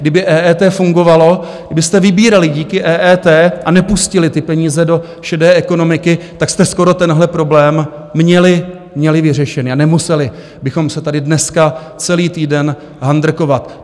Kdyby EET fungovalo, kdybyste vybírali díky EET a nepustili ty peníze do šedé ekonomiky, tak jste skoro tenhle problém měli vyřešený a nemuseli bychom se tady dneska celý týden handrkovat.